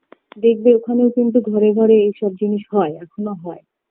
দেখবে ওখানেও কিন্তু ঘরে ঘরে এসব জিনিস হয় এখোনো হয়